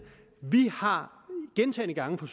vi har gentagne gange fra